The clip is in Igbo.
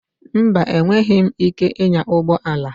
Mba, enweghịm ike ịnya ụgbọ ala.